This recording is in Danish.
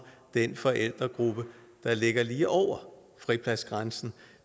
den forældregruppe der ligger lige over fripladsgrænsen